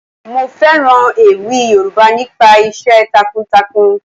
Mo fẹ́ràn ewì Yoruba nípa iṣẹ́ takun takun.